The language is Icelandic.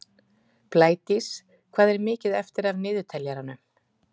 Blædís, hvað er mikið eftir af niðurteljaranum?